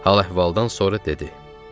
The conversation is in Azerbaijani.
Hal-əhvaldan sonra dedi: